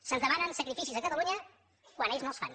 se’ns demanen sacrificis a catalunya quan ells no els fan